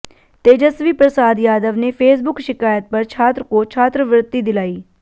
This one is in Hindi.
तेजस्वी प्रसाद यादव ने फेसबुक शिकायत पर छात्र को छात्रवृत्ति दिलाई